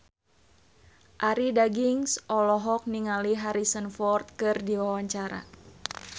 Arie Daginks olohok ningali Harrison Ford keur diwawancara